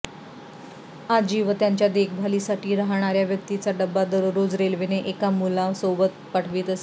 आजी व त्यांच्या देखभाली साठी राहणार्या व्यक्तीचा डब्बा दररोज रेल्वेने एका मुलासोबत पाठवीत असे